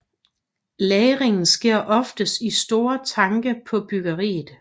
Lagringen sker oftest i store tanke på bryggeriet